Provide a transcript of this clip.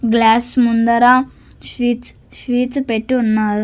Glass ముందర sheets sheets పెట్టి ఉన్నారు.